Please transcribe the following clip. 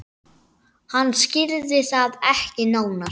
Hann skýrði það ekki nánar.